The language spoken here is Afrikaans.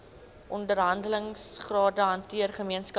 onderhandelingsrade hanteer gemeenskaplike